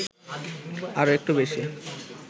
আর একটু বেশি